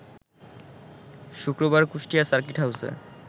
শুক্রবার কুষ্টিয়া সার্কিট হাউসে